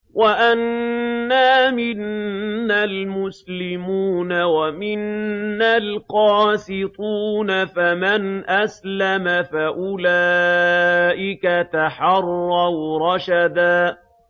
وَأَنَّا مِنَّا الْمُسْلِمُونَ وَمِنَّا الْقَاسِطُونَ ۖ فَمَنْ أَسْلَمَ فَأُولَٰئِكَ تَحَرَّوْا رَشَدًا